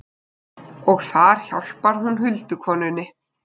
Og þar hjálpar hún huldukonunni.